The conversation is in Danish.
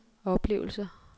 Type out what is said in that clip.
oplevelser